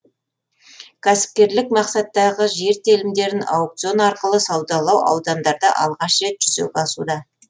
кәсіпкерлік мақсаттағы жер телімдерін аукцион арқылы саудалау аудандарда алғаш рет жүзеге асуда